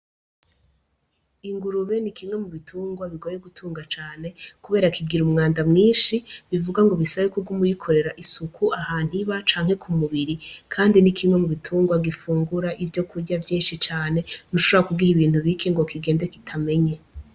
Ingurube ni kimwe mu bitungwa bigoye gutunga cane, kubera kigira umwanda mwinshi, bivuga ngo bisaba ko uguma uyikorera isuku, ahantu iba, canke ku mubiri. Kandi ni kimwe mu bitungwa gifungura ivyokurya vyinshi cane, ntushobora kugiha ibintu bike ngo kigende kitamenye.